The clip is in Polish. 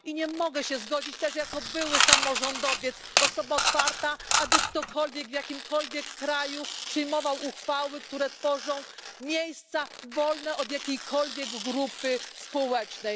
Nie mogę też zgodzić się jako były samorządowiec, jako osoba otwarta, aby ktokolwiek w jakimkolwiek kraju przyjmował uchwały, które tworzą miejsca wolne od jakiejkolwiek grupy społecznej.